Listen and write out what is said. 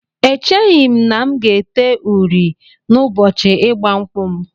Echeghị m na m ga-ete uri n'ụbọchị ịgba nkwụ m